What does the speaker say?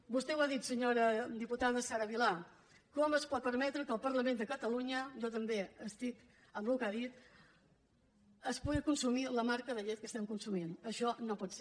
vostè ho ha dit senyora diputada sara vilà com es pot permetre que al parlament de catalunya jo també estic amb el que ha dit es pugui consumir la marca de llet que estem consumint això no pot ser